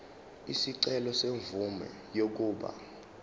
isicelo semvume yokuba